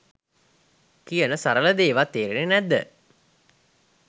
කියන සරල දේ වත් තේරෙන්නෙ නැද්ද